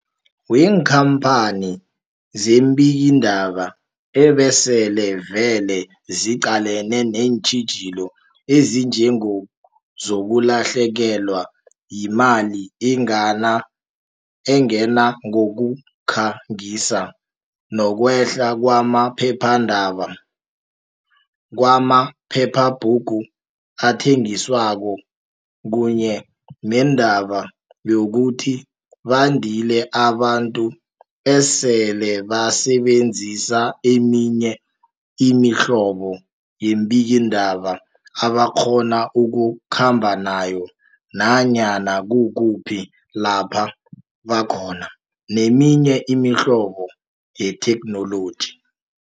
weenkhamphani zeembikiindaba ebesele vele ziqalene neentjhijilo ezinjengezokulahlekelwa yimali engena ngokukha ngisa, nokwehla kwama phephandaba, kwama phephabhugu athengiswako kunye nendaba yokuthi bandile abantu esele basebenzisa eminye imihlobo yeembikiindaba abakghona ukukhamba nayo nanyana kukuphi lapha bakhona, neminye imihlobo yethekhnoloji.